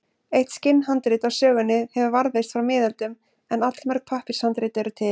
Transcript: Eitt skinnhandrit af sögunni hefur varðveist frá miðöldum en allmörg pappírshandrit eru til.